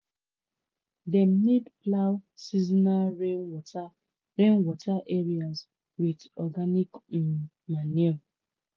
dem need plough seasonal rainwater rainwater areas with organic um manure."